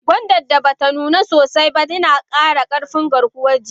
Gonda da bata nuna sosai ba yina kara karfin garkuwan jiki.